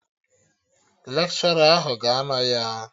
Lekshọra ahụ ga-anọ ya